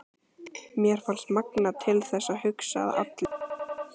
Mér fannst magnað til þess að hugsa að allir